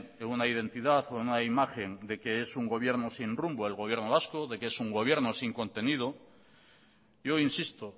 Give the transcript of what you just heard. en una identidad o en una imagen de que es un gobierno sin rumbo el gobierno vasco de que es un gobierno sin contenido yo insisto